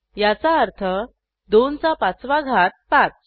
याचा अर्थ 2 चा पाचवा घात 5